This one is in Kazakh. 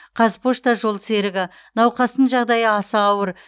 қазпошта жолсерігі науқастың жағдайы аса ауыр